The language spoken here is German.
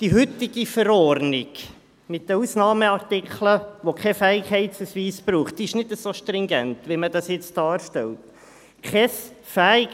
Die heutige Verordnung mit den Ausnahmeartikeln, wo kein Fähigkeitsausweis gebraucht wird, ist nicht so stringent, wie man das nun darstellt.